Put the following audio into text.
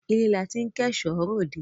Ilé ni a ti ń kẹ́ṣọ̀ọ́ ròde.